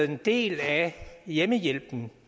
en del af hjemmehjælpen